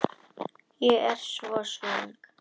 Ég er svo svöng.